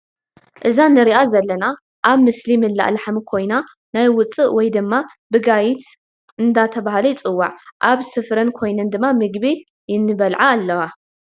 እዛ ንሪኣ ዘለና ኣብ ምስሊ ምላእ ላሕሚ ኮይና ናይ ውፃእ ወይ ድማ ብጋይት ኣናተበሃላ ይፅዉዓ ። ኣብ ስፈረን ኮይነን ድማ ምግቢ ይንልዓ ኣልዋ ።